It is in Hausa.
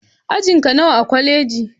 Ajinka nawa a kwaleji?